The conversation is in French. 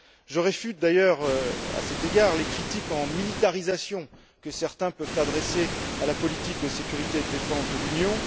Je réfute d'ailleurs, à cet égard, les critiques de militarisation que certains peuvent adresser à la politique de sécurité et de défense de l'Union.